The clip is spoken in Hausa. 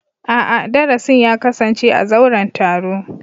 A'a, darasin ya kasance a zauren taro.